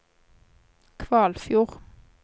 Kvalfjord